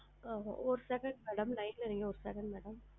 ஆ ஹா ஒரு second madam line ல இருங்க ஒரு second madam